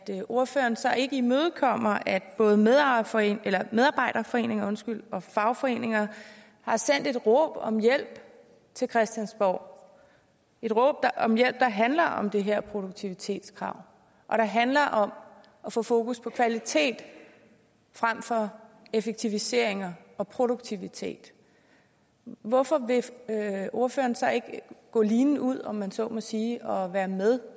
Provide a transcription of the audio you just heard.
ordføreren så ikke imødekommer at både medarbejderforeninger medarbejderforeninger og fagforeninger har sendt et råb om hjælp til christiansborg et råb om hjælp der handler om det her produktivitetskrav og der handler om at få fokus på kvalitet frem for effektiviseringer og produktivitet hvorfor vil ordføreren så ikke gå linen ud om man så må sige og være med